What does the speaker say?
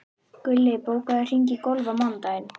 Gulli, bókaðu hring í golf á mánudaginn.